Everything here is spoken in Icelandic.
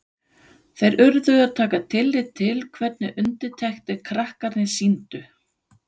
Þeir urðu að taka tillit til hvernig undirtektir krakkarnir sýndu.